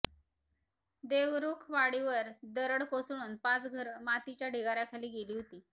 देवरुखवाडीवर दरड कोसळून पाच घर मातीच्या ढिगाऱ्याखाली गेली होती